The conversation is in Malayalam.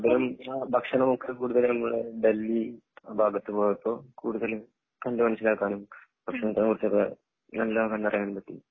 ഭക്ഷണം ഒക്കെ കൂടുതലും നമ്മളെ ഡൽഹി ആ ഭാഗത്ത് പോയപ്പോ കൂടുതലും കണ്ട് മനസ്സിലാക്കാനും ഭക്ഷണത്തിനെ കുറിച്ചൊക്കെ നല്ലവണ്ണം തന്നെ അറിയാനും പറ്റി